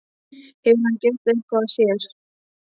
Hefur hann gert eitthvað af sér?